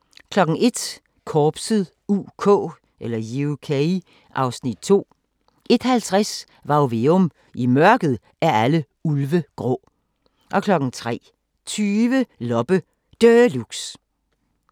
01:00: Korpset (UK) (Afs. 2) 01:50: Varg Veum – I mørket er alle ulve grå 03:20: Loppe Deluxe